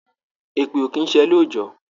Èpè ò kí ń ṣẹ lóòjọ́